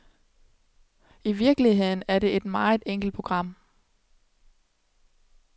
I virkeligheden er det et meget enkelt program.